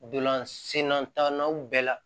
Dolan sennatannanw bɛɛ la